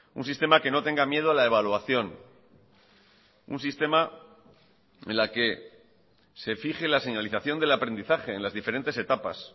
un sistema que no tenga miedo a la evaluación un sistema en la que se fije la señalización del aprendizaje en las diferentes etapas